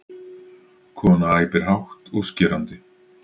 Kona æpir hátt og skerandi.